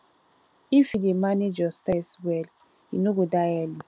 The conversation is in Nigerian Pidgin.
if you dey manage your stress well you no go die early